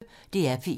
DR P1